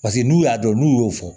Paseke n'u y'a dɔn n'u y'o fɔ